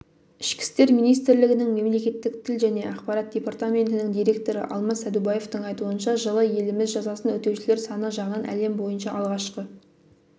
ішкі істер министрлігінің мемлекеттік тіл және ақпарат департаментінің директоры алмас сәдубаевтың айтуынша жылы еліміз жазасын өтеушілер саны жағынан әлем бойынша алғашқы